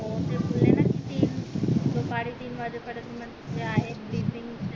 दुपरी तीन वाजे पर्यंत मंग ते आहेत